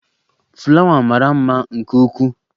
Fulawa mara mma nke ukwuu.